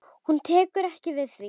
Hún tekur ekki við því.